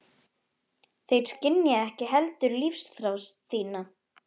Þeir skynja ekki heldur lífsþrá þína.